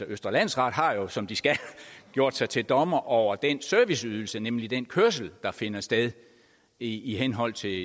østre landsret har jo som de skal gjort sig til dommer over den serviceydelse nemlig den kørsel der finder sted i i henhold til